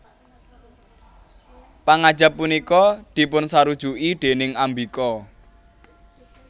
Pangajap punika dipunsarujuki déning Ambika